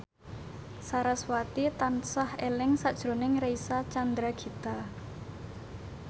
sarasvati tansah eling sakjroning Reysa Chandragitta